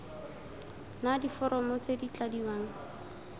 na diforomo tse di tladiwang